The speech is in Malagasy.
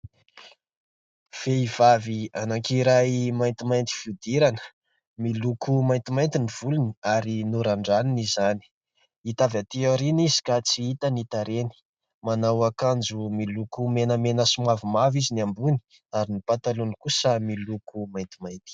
Vehivavy anankiray maintimainty fihodirana, miloko maintimainty ny volony ary norandraniny izany. Hita avy aty aoriana izy ka tsy hita ny tarehiny. Manao akanjo miloko menamena sy mavomavo izy ny ambony ary ny patalohany kosa miloko maintimainty.